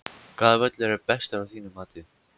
Hvaða völlur er bestur af þínu mati?